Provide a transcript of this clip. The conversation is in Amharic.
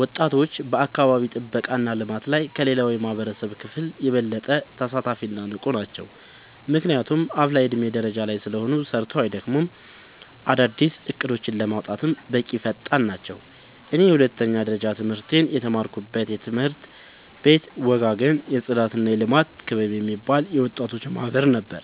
ወጣቶች በአካባቢ ጥብቃ እና ልማት ላይ ከሌላው የማህበረሰብ ክፍል የበለጠ ተሳታፊ እና ንቁ ናቸው። ምክንያቱም አፋላ የዕድሜ ደረጃ ላይ ስለሆኑ ሰርተው አይደክሙም፤ አዳዲስ እቅዶችን ለማውጣትም በጣም ፈጣን ናቸው። እኔ የሁለተኛ ደረጃ ትምህርቴን የተማርኩበት ትምህርት ቤት ወጋገን የፅዳትና የልማት ክበብ የሚባል የወጣቶች ማህበር ነበር።